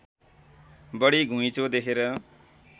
बढी घुँइचो देखेर